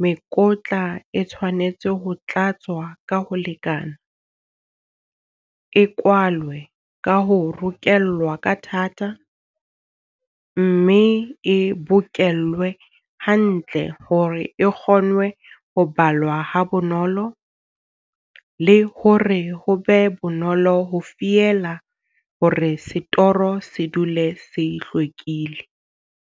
mekotla e tshwanetse ho tlatswa ka ho lekana, e kwalwe ka ho rokellwa ka thata, mme e bokellwe hantle hore e kgonwe ho balwa ha bonolo, le hore ho be bonolo ho fiela hore setoro se dule se hlwekile.